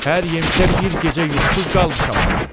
Hər yemişə bir gecə yuxusuz qalmışam axı.